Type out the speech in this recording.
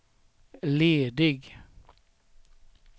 ledig